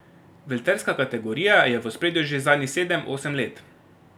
Velterska kategorija je v ospredju že zadnjih sedem, osem let.